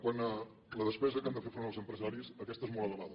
quant a la despesa a què han de fer front els empresaris aquesta és molt elevada